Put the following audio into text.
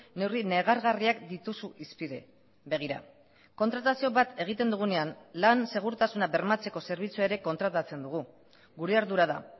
neurri negargarriak dituzu hizpide begira kontratazio bat egiten dugunean lan segurtasuna bermatzeko zerbitzua ere kontratatzen dugu gure ardura da